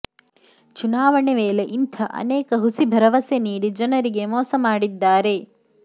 ಚುನಾವಣೆ ವೇಳೆ ಇಂಥ ಅನೇಕ ಹುಸಿ ಭರವಸೆ ನೀಡಿ ಜನರಿಗೆ ಮೋಸ ಮಾಡಿದ್ದಾರೆ